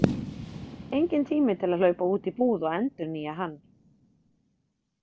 Enginn tími til að hlaupa út í búð og endurnýja hann.